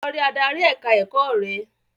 Lọ rí adarí ẹ̀ka-ẹ̀kọ́ rẹ!